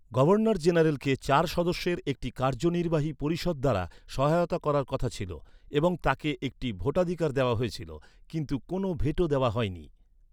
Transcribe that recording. Governor জেনারেলকে চার সদস্যের একটি কার্যনির্বাহী পরিষদ দ্বারা সহায়তা করার কথা ছিল এবং তাকে একটি ভোটাধিকার দেওয়া হয়েছিল। কিন্তু কোনও ভেটো দেওয়া হয়নি।